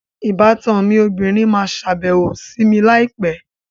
Ìbátan obìnrin máa sàbẹ̀wò sì mi láì pẹ́